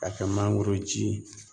Ka kɛ mangoroji ye